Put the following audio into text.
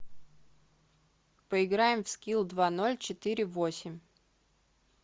поиграем в скилл два ноль четыре восемь